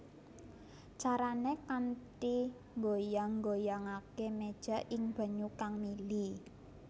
Carané kanthi nggoyang nggoyangaké méja ing banyu kang mili